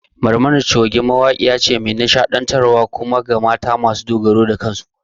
Barmani Choge mace ce mai nishaɗantar wa kuma mawaƙiya akan mata su dogara da kansu